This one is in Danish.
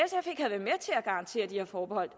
garantere de her forbehold